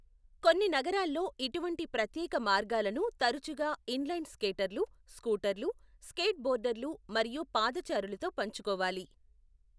కొన్ని నగరాల్లో ఇటువంటి ప్రత్యేక మార్గాలను తరచుగా ఇన్ లైన్ స్కేటర్లు, స్కూటర్లు, స్కేట్ బోర్డర్లు మరియు పాదచారులతో పంచుకోవాలి.